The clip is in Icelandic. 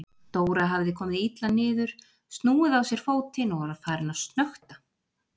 Dóra hafði komið illa niður, snúið á sér fótinn og var farin að snökta.